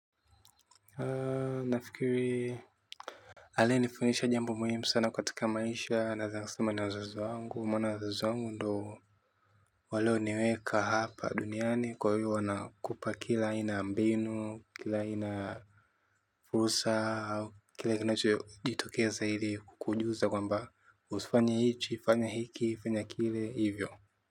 Nafikiri aliyenifundisha jambo muhimu katika maisha naeza sema ni wazazi wangu maana wazazi wangu ndio walioniweka hapa duniani kwa hiyo wanakupa kila aina ya mbinu kila aina fursa au kila kinacho jitokeza ili kukujuza kwamba usifanye hichi fanya hiki fanya kile hivyo.